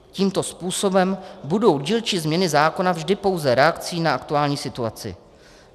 Tímto způsobem budou dílčí změny zákony vždy pouze reakcí na aktuální situaci.